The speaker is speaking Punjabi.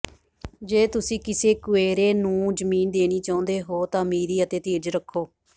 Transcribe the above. ਜੇ ਤੁਸੀਂ ਕਿਸੇ ਕੁਏਰੋ ਨੂੰ ਜ਼ਮੀਨ ਦੇਣੀ ਚਾਹੁੰਦੇ ਹੋ ਤਾਂ ਅਮੀਰੀ ਅਤੇ ਧੀਰਜ ਰੱਖੋ